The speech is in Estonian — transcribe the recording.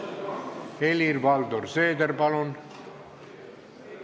Helir-Valdor Seeder, palun!